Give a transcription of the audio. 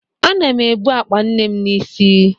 Ana m ebu akpa nne m n'isi